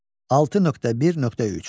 6.1.3.